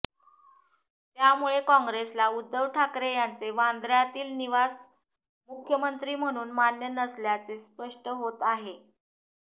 त्यामुळे काँग्रेसला उध्दव ठाकरे यांचे वांद्य्रातील निवास मुख्यमंत्री म्हणून मान्य नसल्याचे स्पष्ट होत आहे